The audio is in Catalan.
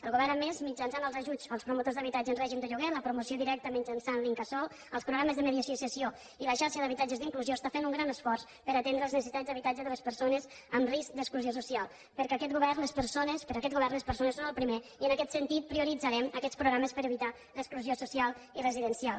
el govern a més mitjançant els ajuts als promotors d’habitatge en règim de lloguer la promoció directa mitjançant l’incasòl els programes de mediació i cessió i la xarxa d’habitatges d’inclusió està fent un gran esforç per atendre les necessitats d’habitatge de les persones amb risc d’exclusió social perquè per aquest govern les persones són el primer i en aquest sentit prioritzarem aquests programes per evitar l’exclusió social i residencial